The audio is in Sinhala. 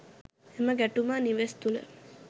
එම ගැටුම නිවෙස් තුළ